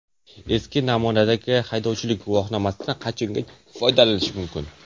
Eski namunadagi haydovchilik guvohnomasidan qachongacha foydalanish mumkin?.